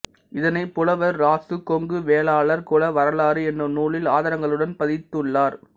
இதனை புலவர் இராசு கொங்கு வேளாளர் குல வரலாறு எனும் நூலில் ஆதாரங்களுடன் பதித்துள்ளார்